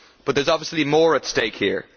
But there is obviously more at stake here.